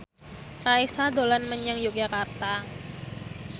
Raisa dolan menyang Yogyakarta